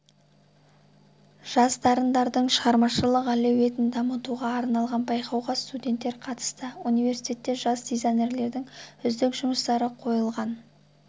жас дарындардардың шығармашылық әлеуетін дамытуға арналған байқауға студенттер қатысты университетте жас дизайнерлердің үздік жұмыстары қойылған